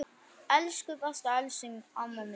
Elsku besta Elsý amma mín.